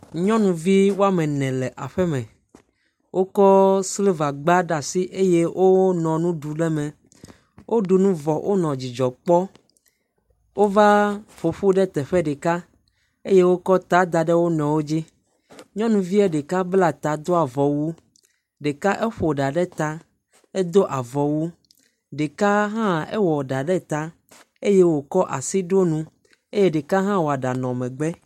Nyɔnuvi wo ame ene le aƒeme. Wokɔ silivagba ɖe asi eye wonɔ nu ɖu le eme. Woɖu nu vɔ. Wonɔ dzidzɔ kpɔ. Wova ƒo ƒu ɖe teƒe ɖeka eye wokɔ ta da ɖe wo nɔewo dzi. Nyɔnuvie ɖeka bla ta do avɔwu. Ɖeka eƒo ɖa ɖe ta, edo avɔwu. Ɖeka hã ewɔ ɖa ɖe ta eye wòkɔ asi ɖo nu. Eye ɖeka hã wɔ ɖa nɔ megbe